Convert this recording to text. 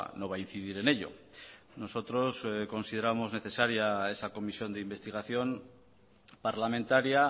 no va a incidir en ello nosotros consideramos necesaria esa comisión de investigación parlamentaria